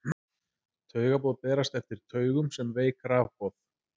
taugaboð berast eftir taugum sem veik rafboð